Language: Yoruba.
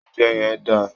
Oúnjẹ yẹn dà!